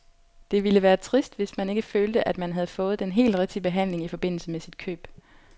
Det ville være trist, hvis man ikke følte, at man havde fået den helt rigtige behandling i forbindelse med sit køb.